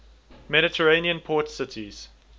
mediterranean port cities